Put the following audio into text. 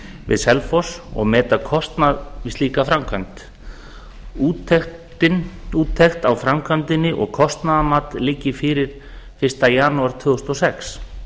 við selfoss og meta kostnað við slíka framkvæmd úttekt á framkvæmdinni og kostnaðarmat liggi fyrir fyrsta janúar tvö þúsund og sex